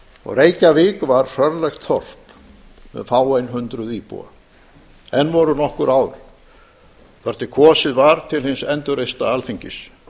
og reykjavík var hrörlegt þorp með fáein hundruð íbúa enn voru nokkur ár þar til kosið var til hins endurreista alþingis